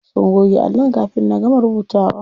Sun goge allon kafin na gama rubutawa.